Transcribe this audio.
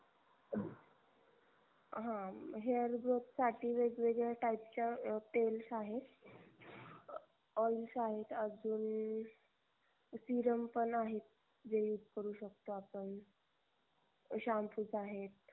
हा hair growth साठी वेगवेगळ्या type च्या तेल आहेत oils आहे अजून serum पण आहेत जे use करू शकतो आपण shampoos आहेत